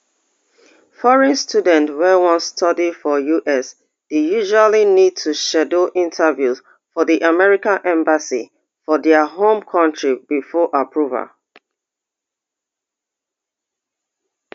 foreign students wey wan study for us dey usually need to schedule interviews for di american embassy for dia home country before approval